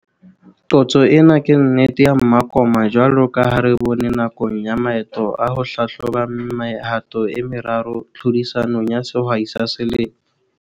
Qotso ena ke nnete ya mmakoma jwalo ka ha re bone nakong ya maeto a ho hlahloba mehato e meraro tlhodisanong ya Sehwai sa Selemo.